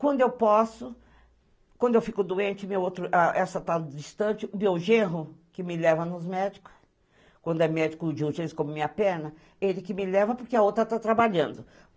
Quando eu posso, quando eu fico doente, essa tá distante, o meu gerro, que me leva nos médicos, quando é médico de urgência como minha perna, ele que me leva porque a outra tá trabalhando.